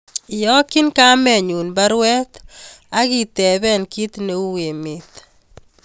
Iyokyin kamenyun baruet agi tepee ki ne u emet